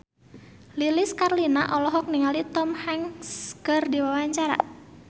Lilis Karlina olohok ningali Tom Hanks keur diwawancara